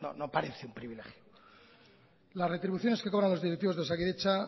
no parece un privilegio las retribuciones que cobran los directivos de osakidetza